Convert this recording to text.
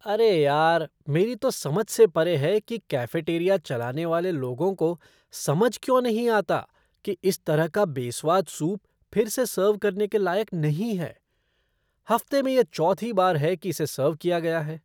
अरे यार, मेरी तो समझ से परे है कि कैफ़ेटेरिया चलाने वाले लोगों को समझ क्यों नहीं आता कि इस तरह का बेस्वाद सूप फिर से सर्व करने लायक नहीं है हफ़्ते में यह चौथी बार है कि इसे सर्व किया गया है।